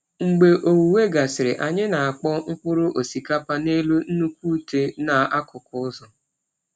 Mgbe owuwe gasịrị, anyị na-akpọọ mkpụrụ osikapa n’elu nnukwu utẹ n’akụkụ ụzọ.